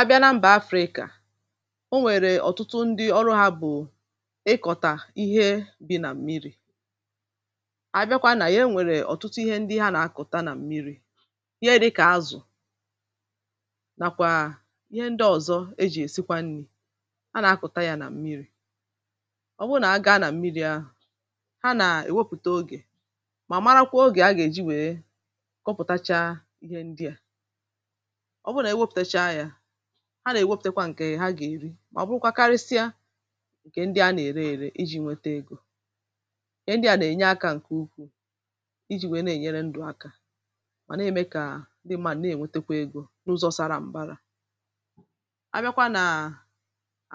a bịa na mbà africa o nwèrè ọ̀tụtụ ndị ọrụ ha bụ̀ ịkọ̀tà ihe bi na mmiri̇ abịakwa nà ya e nwèrè ọ̀tụtụ ihe ndị ha nà-akọ̀ta nà mmiri̇ ihe di̇ kà azụ̀ nàkwà ihe ndị ọ̀zọ e jì èsịkwa nni̇ a nà-akụ̀ta nà mmiri̇ ọ bụrụ nà aga na mmiri̇ ahụ̀ ha nà-èwepùte ogè mà marakwa ogè a gà-èji wèe kọpụ̀tacha ihe ndị à ha nà-èwepùtekwa ǹkè ha gà-èri mà ọ̀ bụrụkwa karịsịa ǹkè ndị a nà-ère èrè iji̇ nwete egȯ ihe ndị a nà-ènye akȧ ǹkè ukwuù iji̇ nwèe na-ènyere ndụ̇ akȧ mà na-ème kà ndị mmȧ nà-ènwetekwa egȯ n’ụzọ̇ sara m̀bara abịakwa nà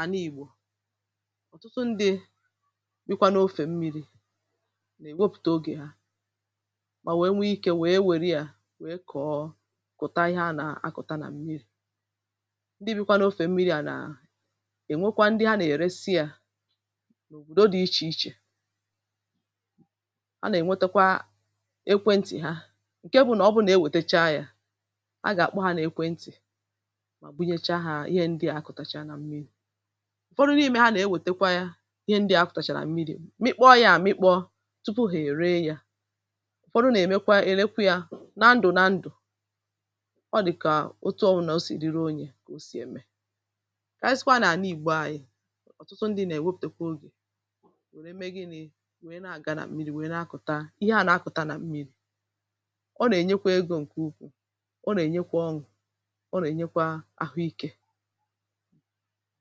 àna-ìgbò ọ̀tụtụ ndị̇ bịkwa n’ofè mmiri̇ nà-èwepùtò ogè ha mà wee nwe ikė wee wère ya ndị bụ n’ofè mmiri à nà ènwekwa ndị ha nà-èresi à n’òbòdo dị̇ ichè ichè a nà-ènwetakwa ekwentị̀ ha ǹke bụ nà ọ bụrụ nà e wètecha yȧ a gà-àkpọ ha nà-ekwentị̀ mà bunyecha hȧ ihe ndị à akọ̀tàchà na mmiri̇ ụ̀fọdụ n’ime ha nà-ewètekwa yȧ ihe ndị à akọ̀tàchàrà mmiri̇ mịkpọ̇ yȧ àmịkpọ̇ tupu hà-ère yȧ ụ̀fọdụ nà-èmekwa èlekwa yȧ na ndụ̀ na ndụ̀ kà ọ sì ème kà ànyị sịkwa nà àna ǹgbė anyị ọ̀tụtụ ndị nà-èwepụ̀tèkwa ogè wère mee gịnị̇ wèe na-àga nà mmiri̇ wèe na-akụ̀ta ihe à na-akụ̀ta nà mmiri̇ ọ nà-ènyekwa egȯ ǹkè ukwuù ọ nà-ènyekwa ọṅụ̀ ọ nà-ènyekwa àhụikė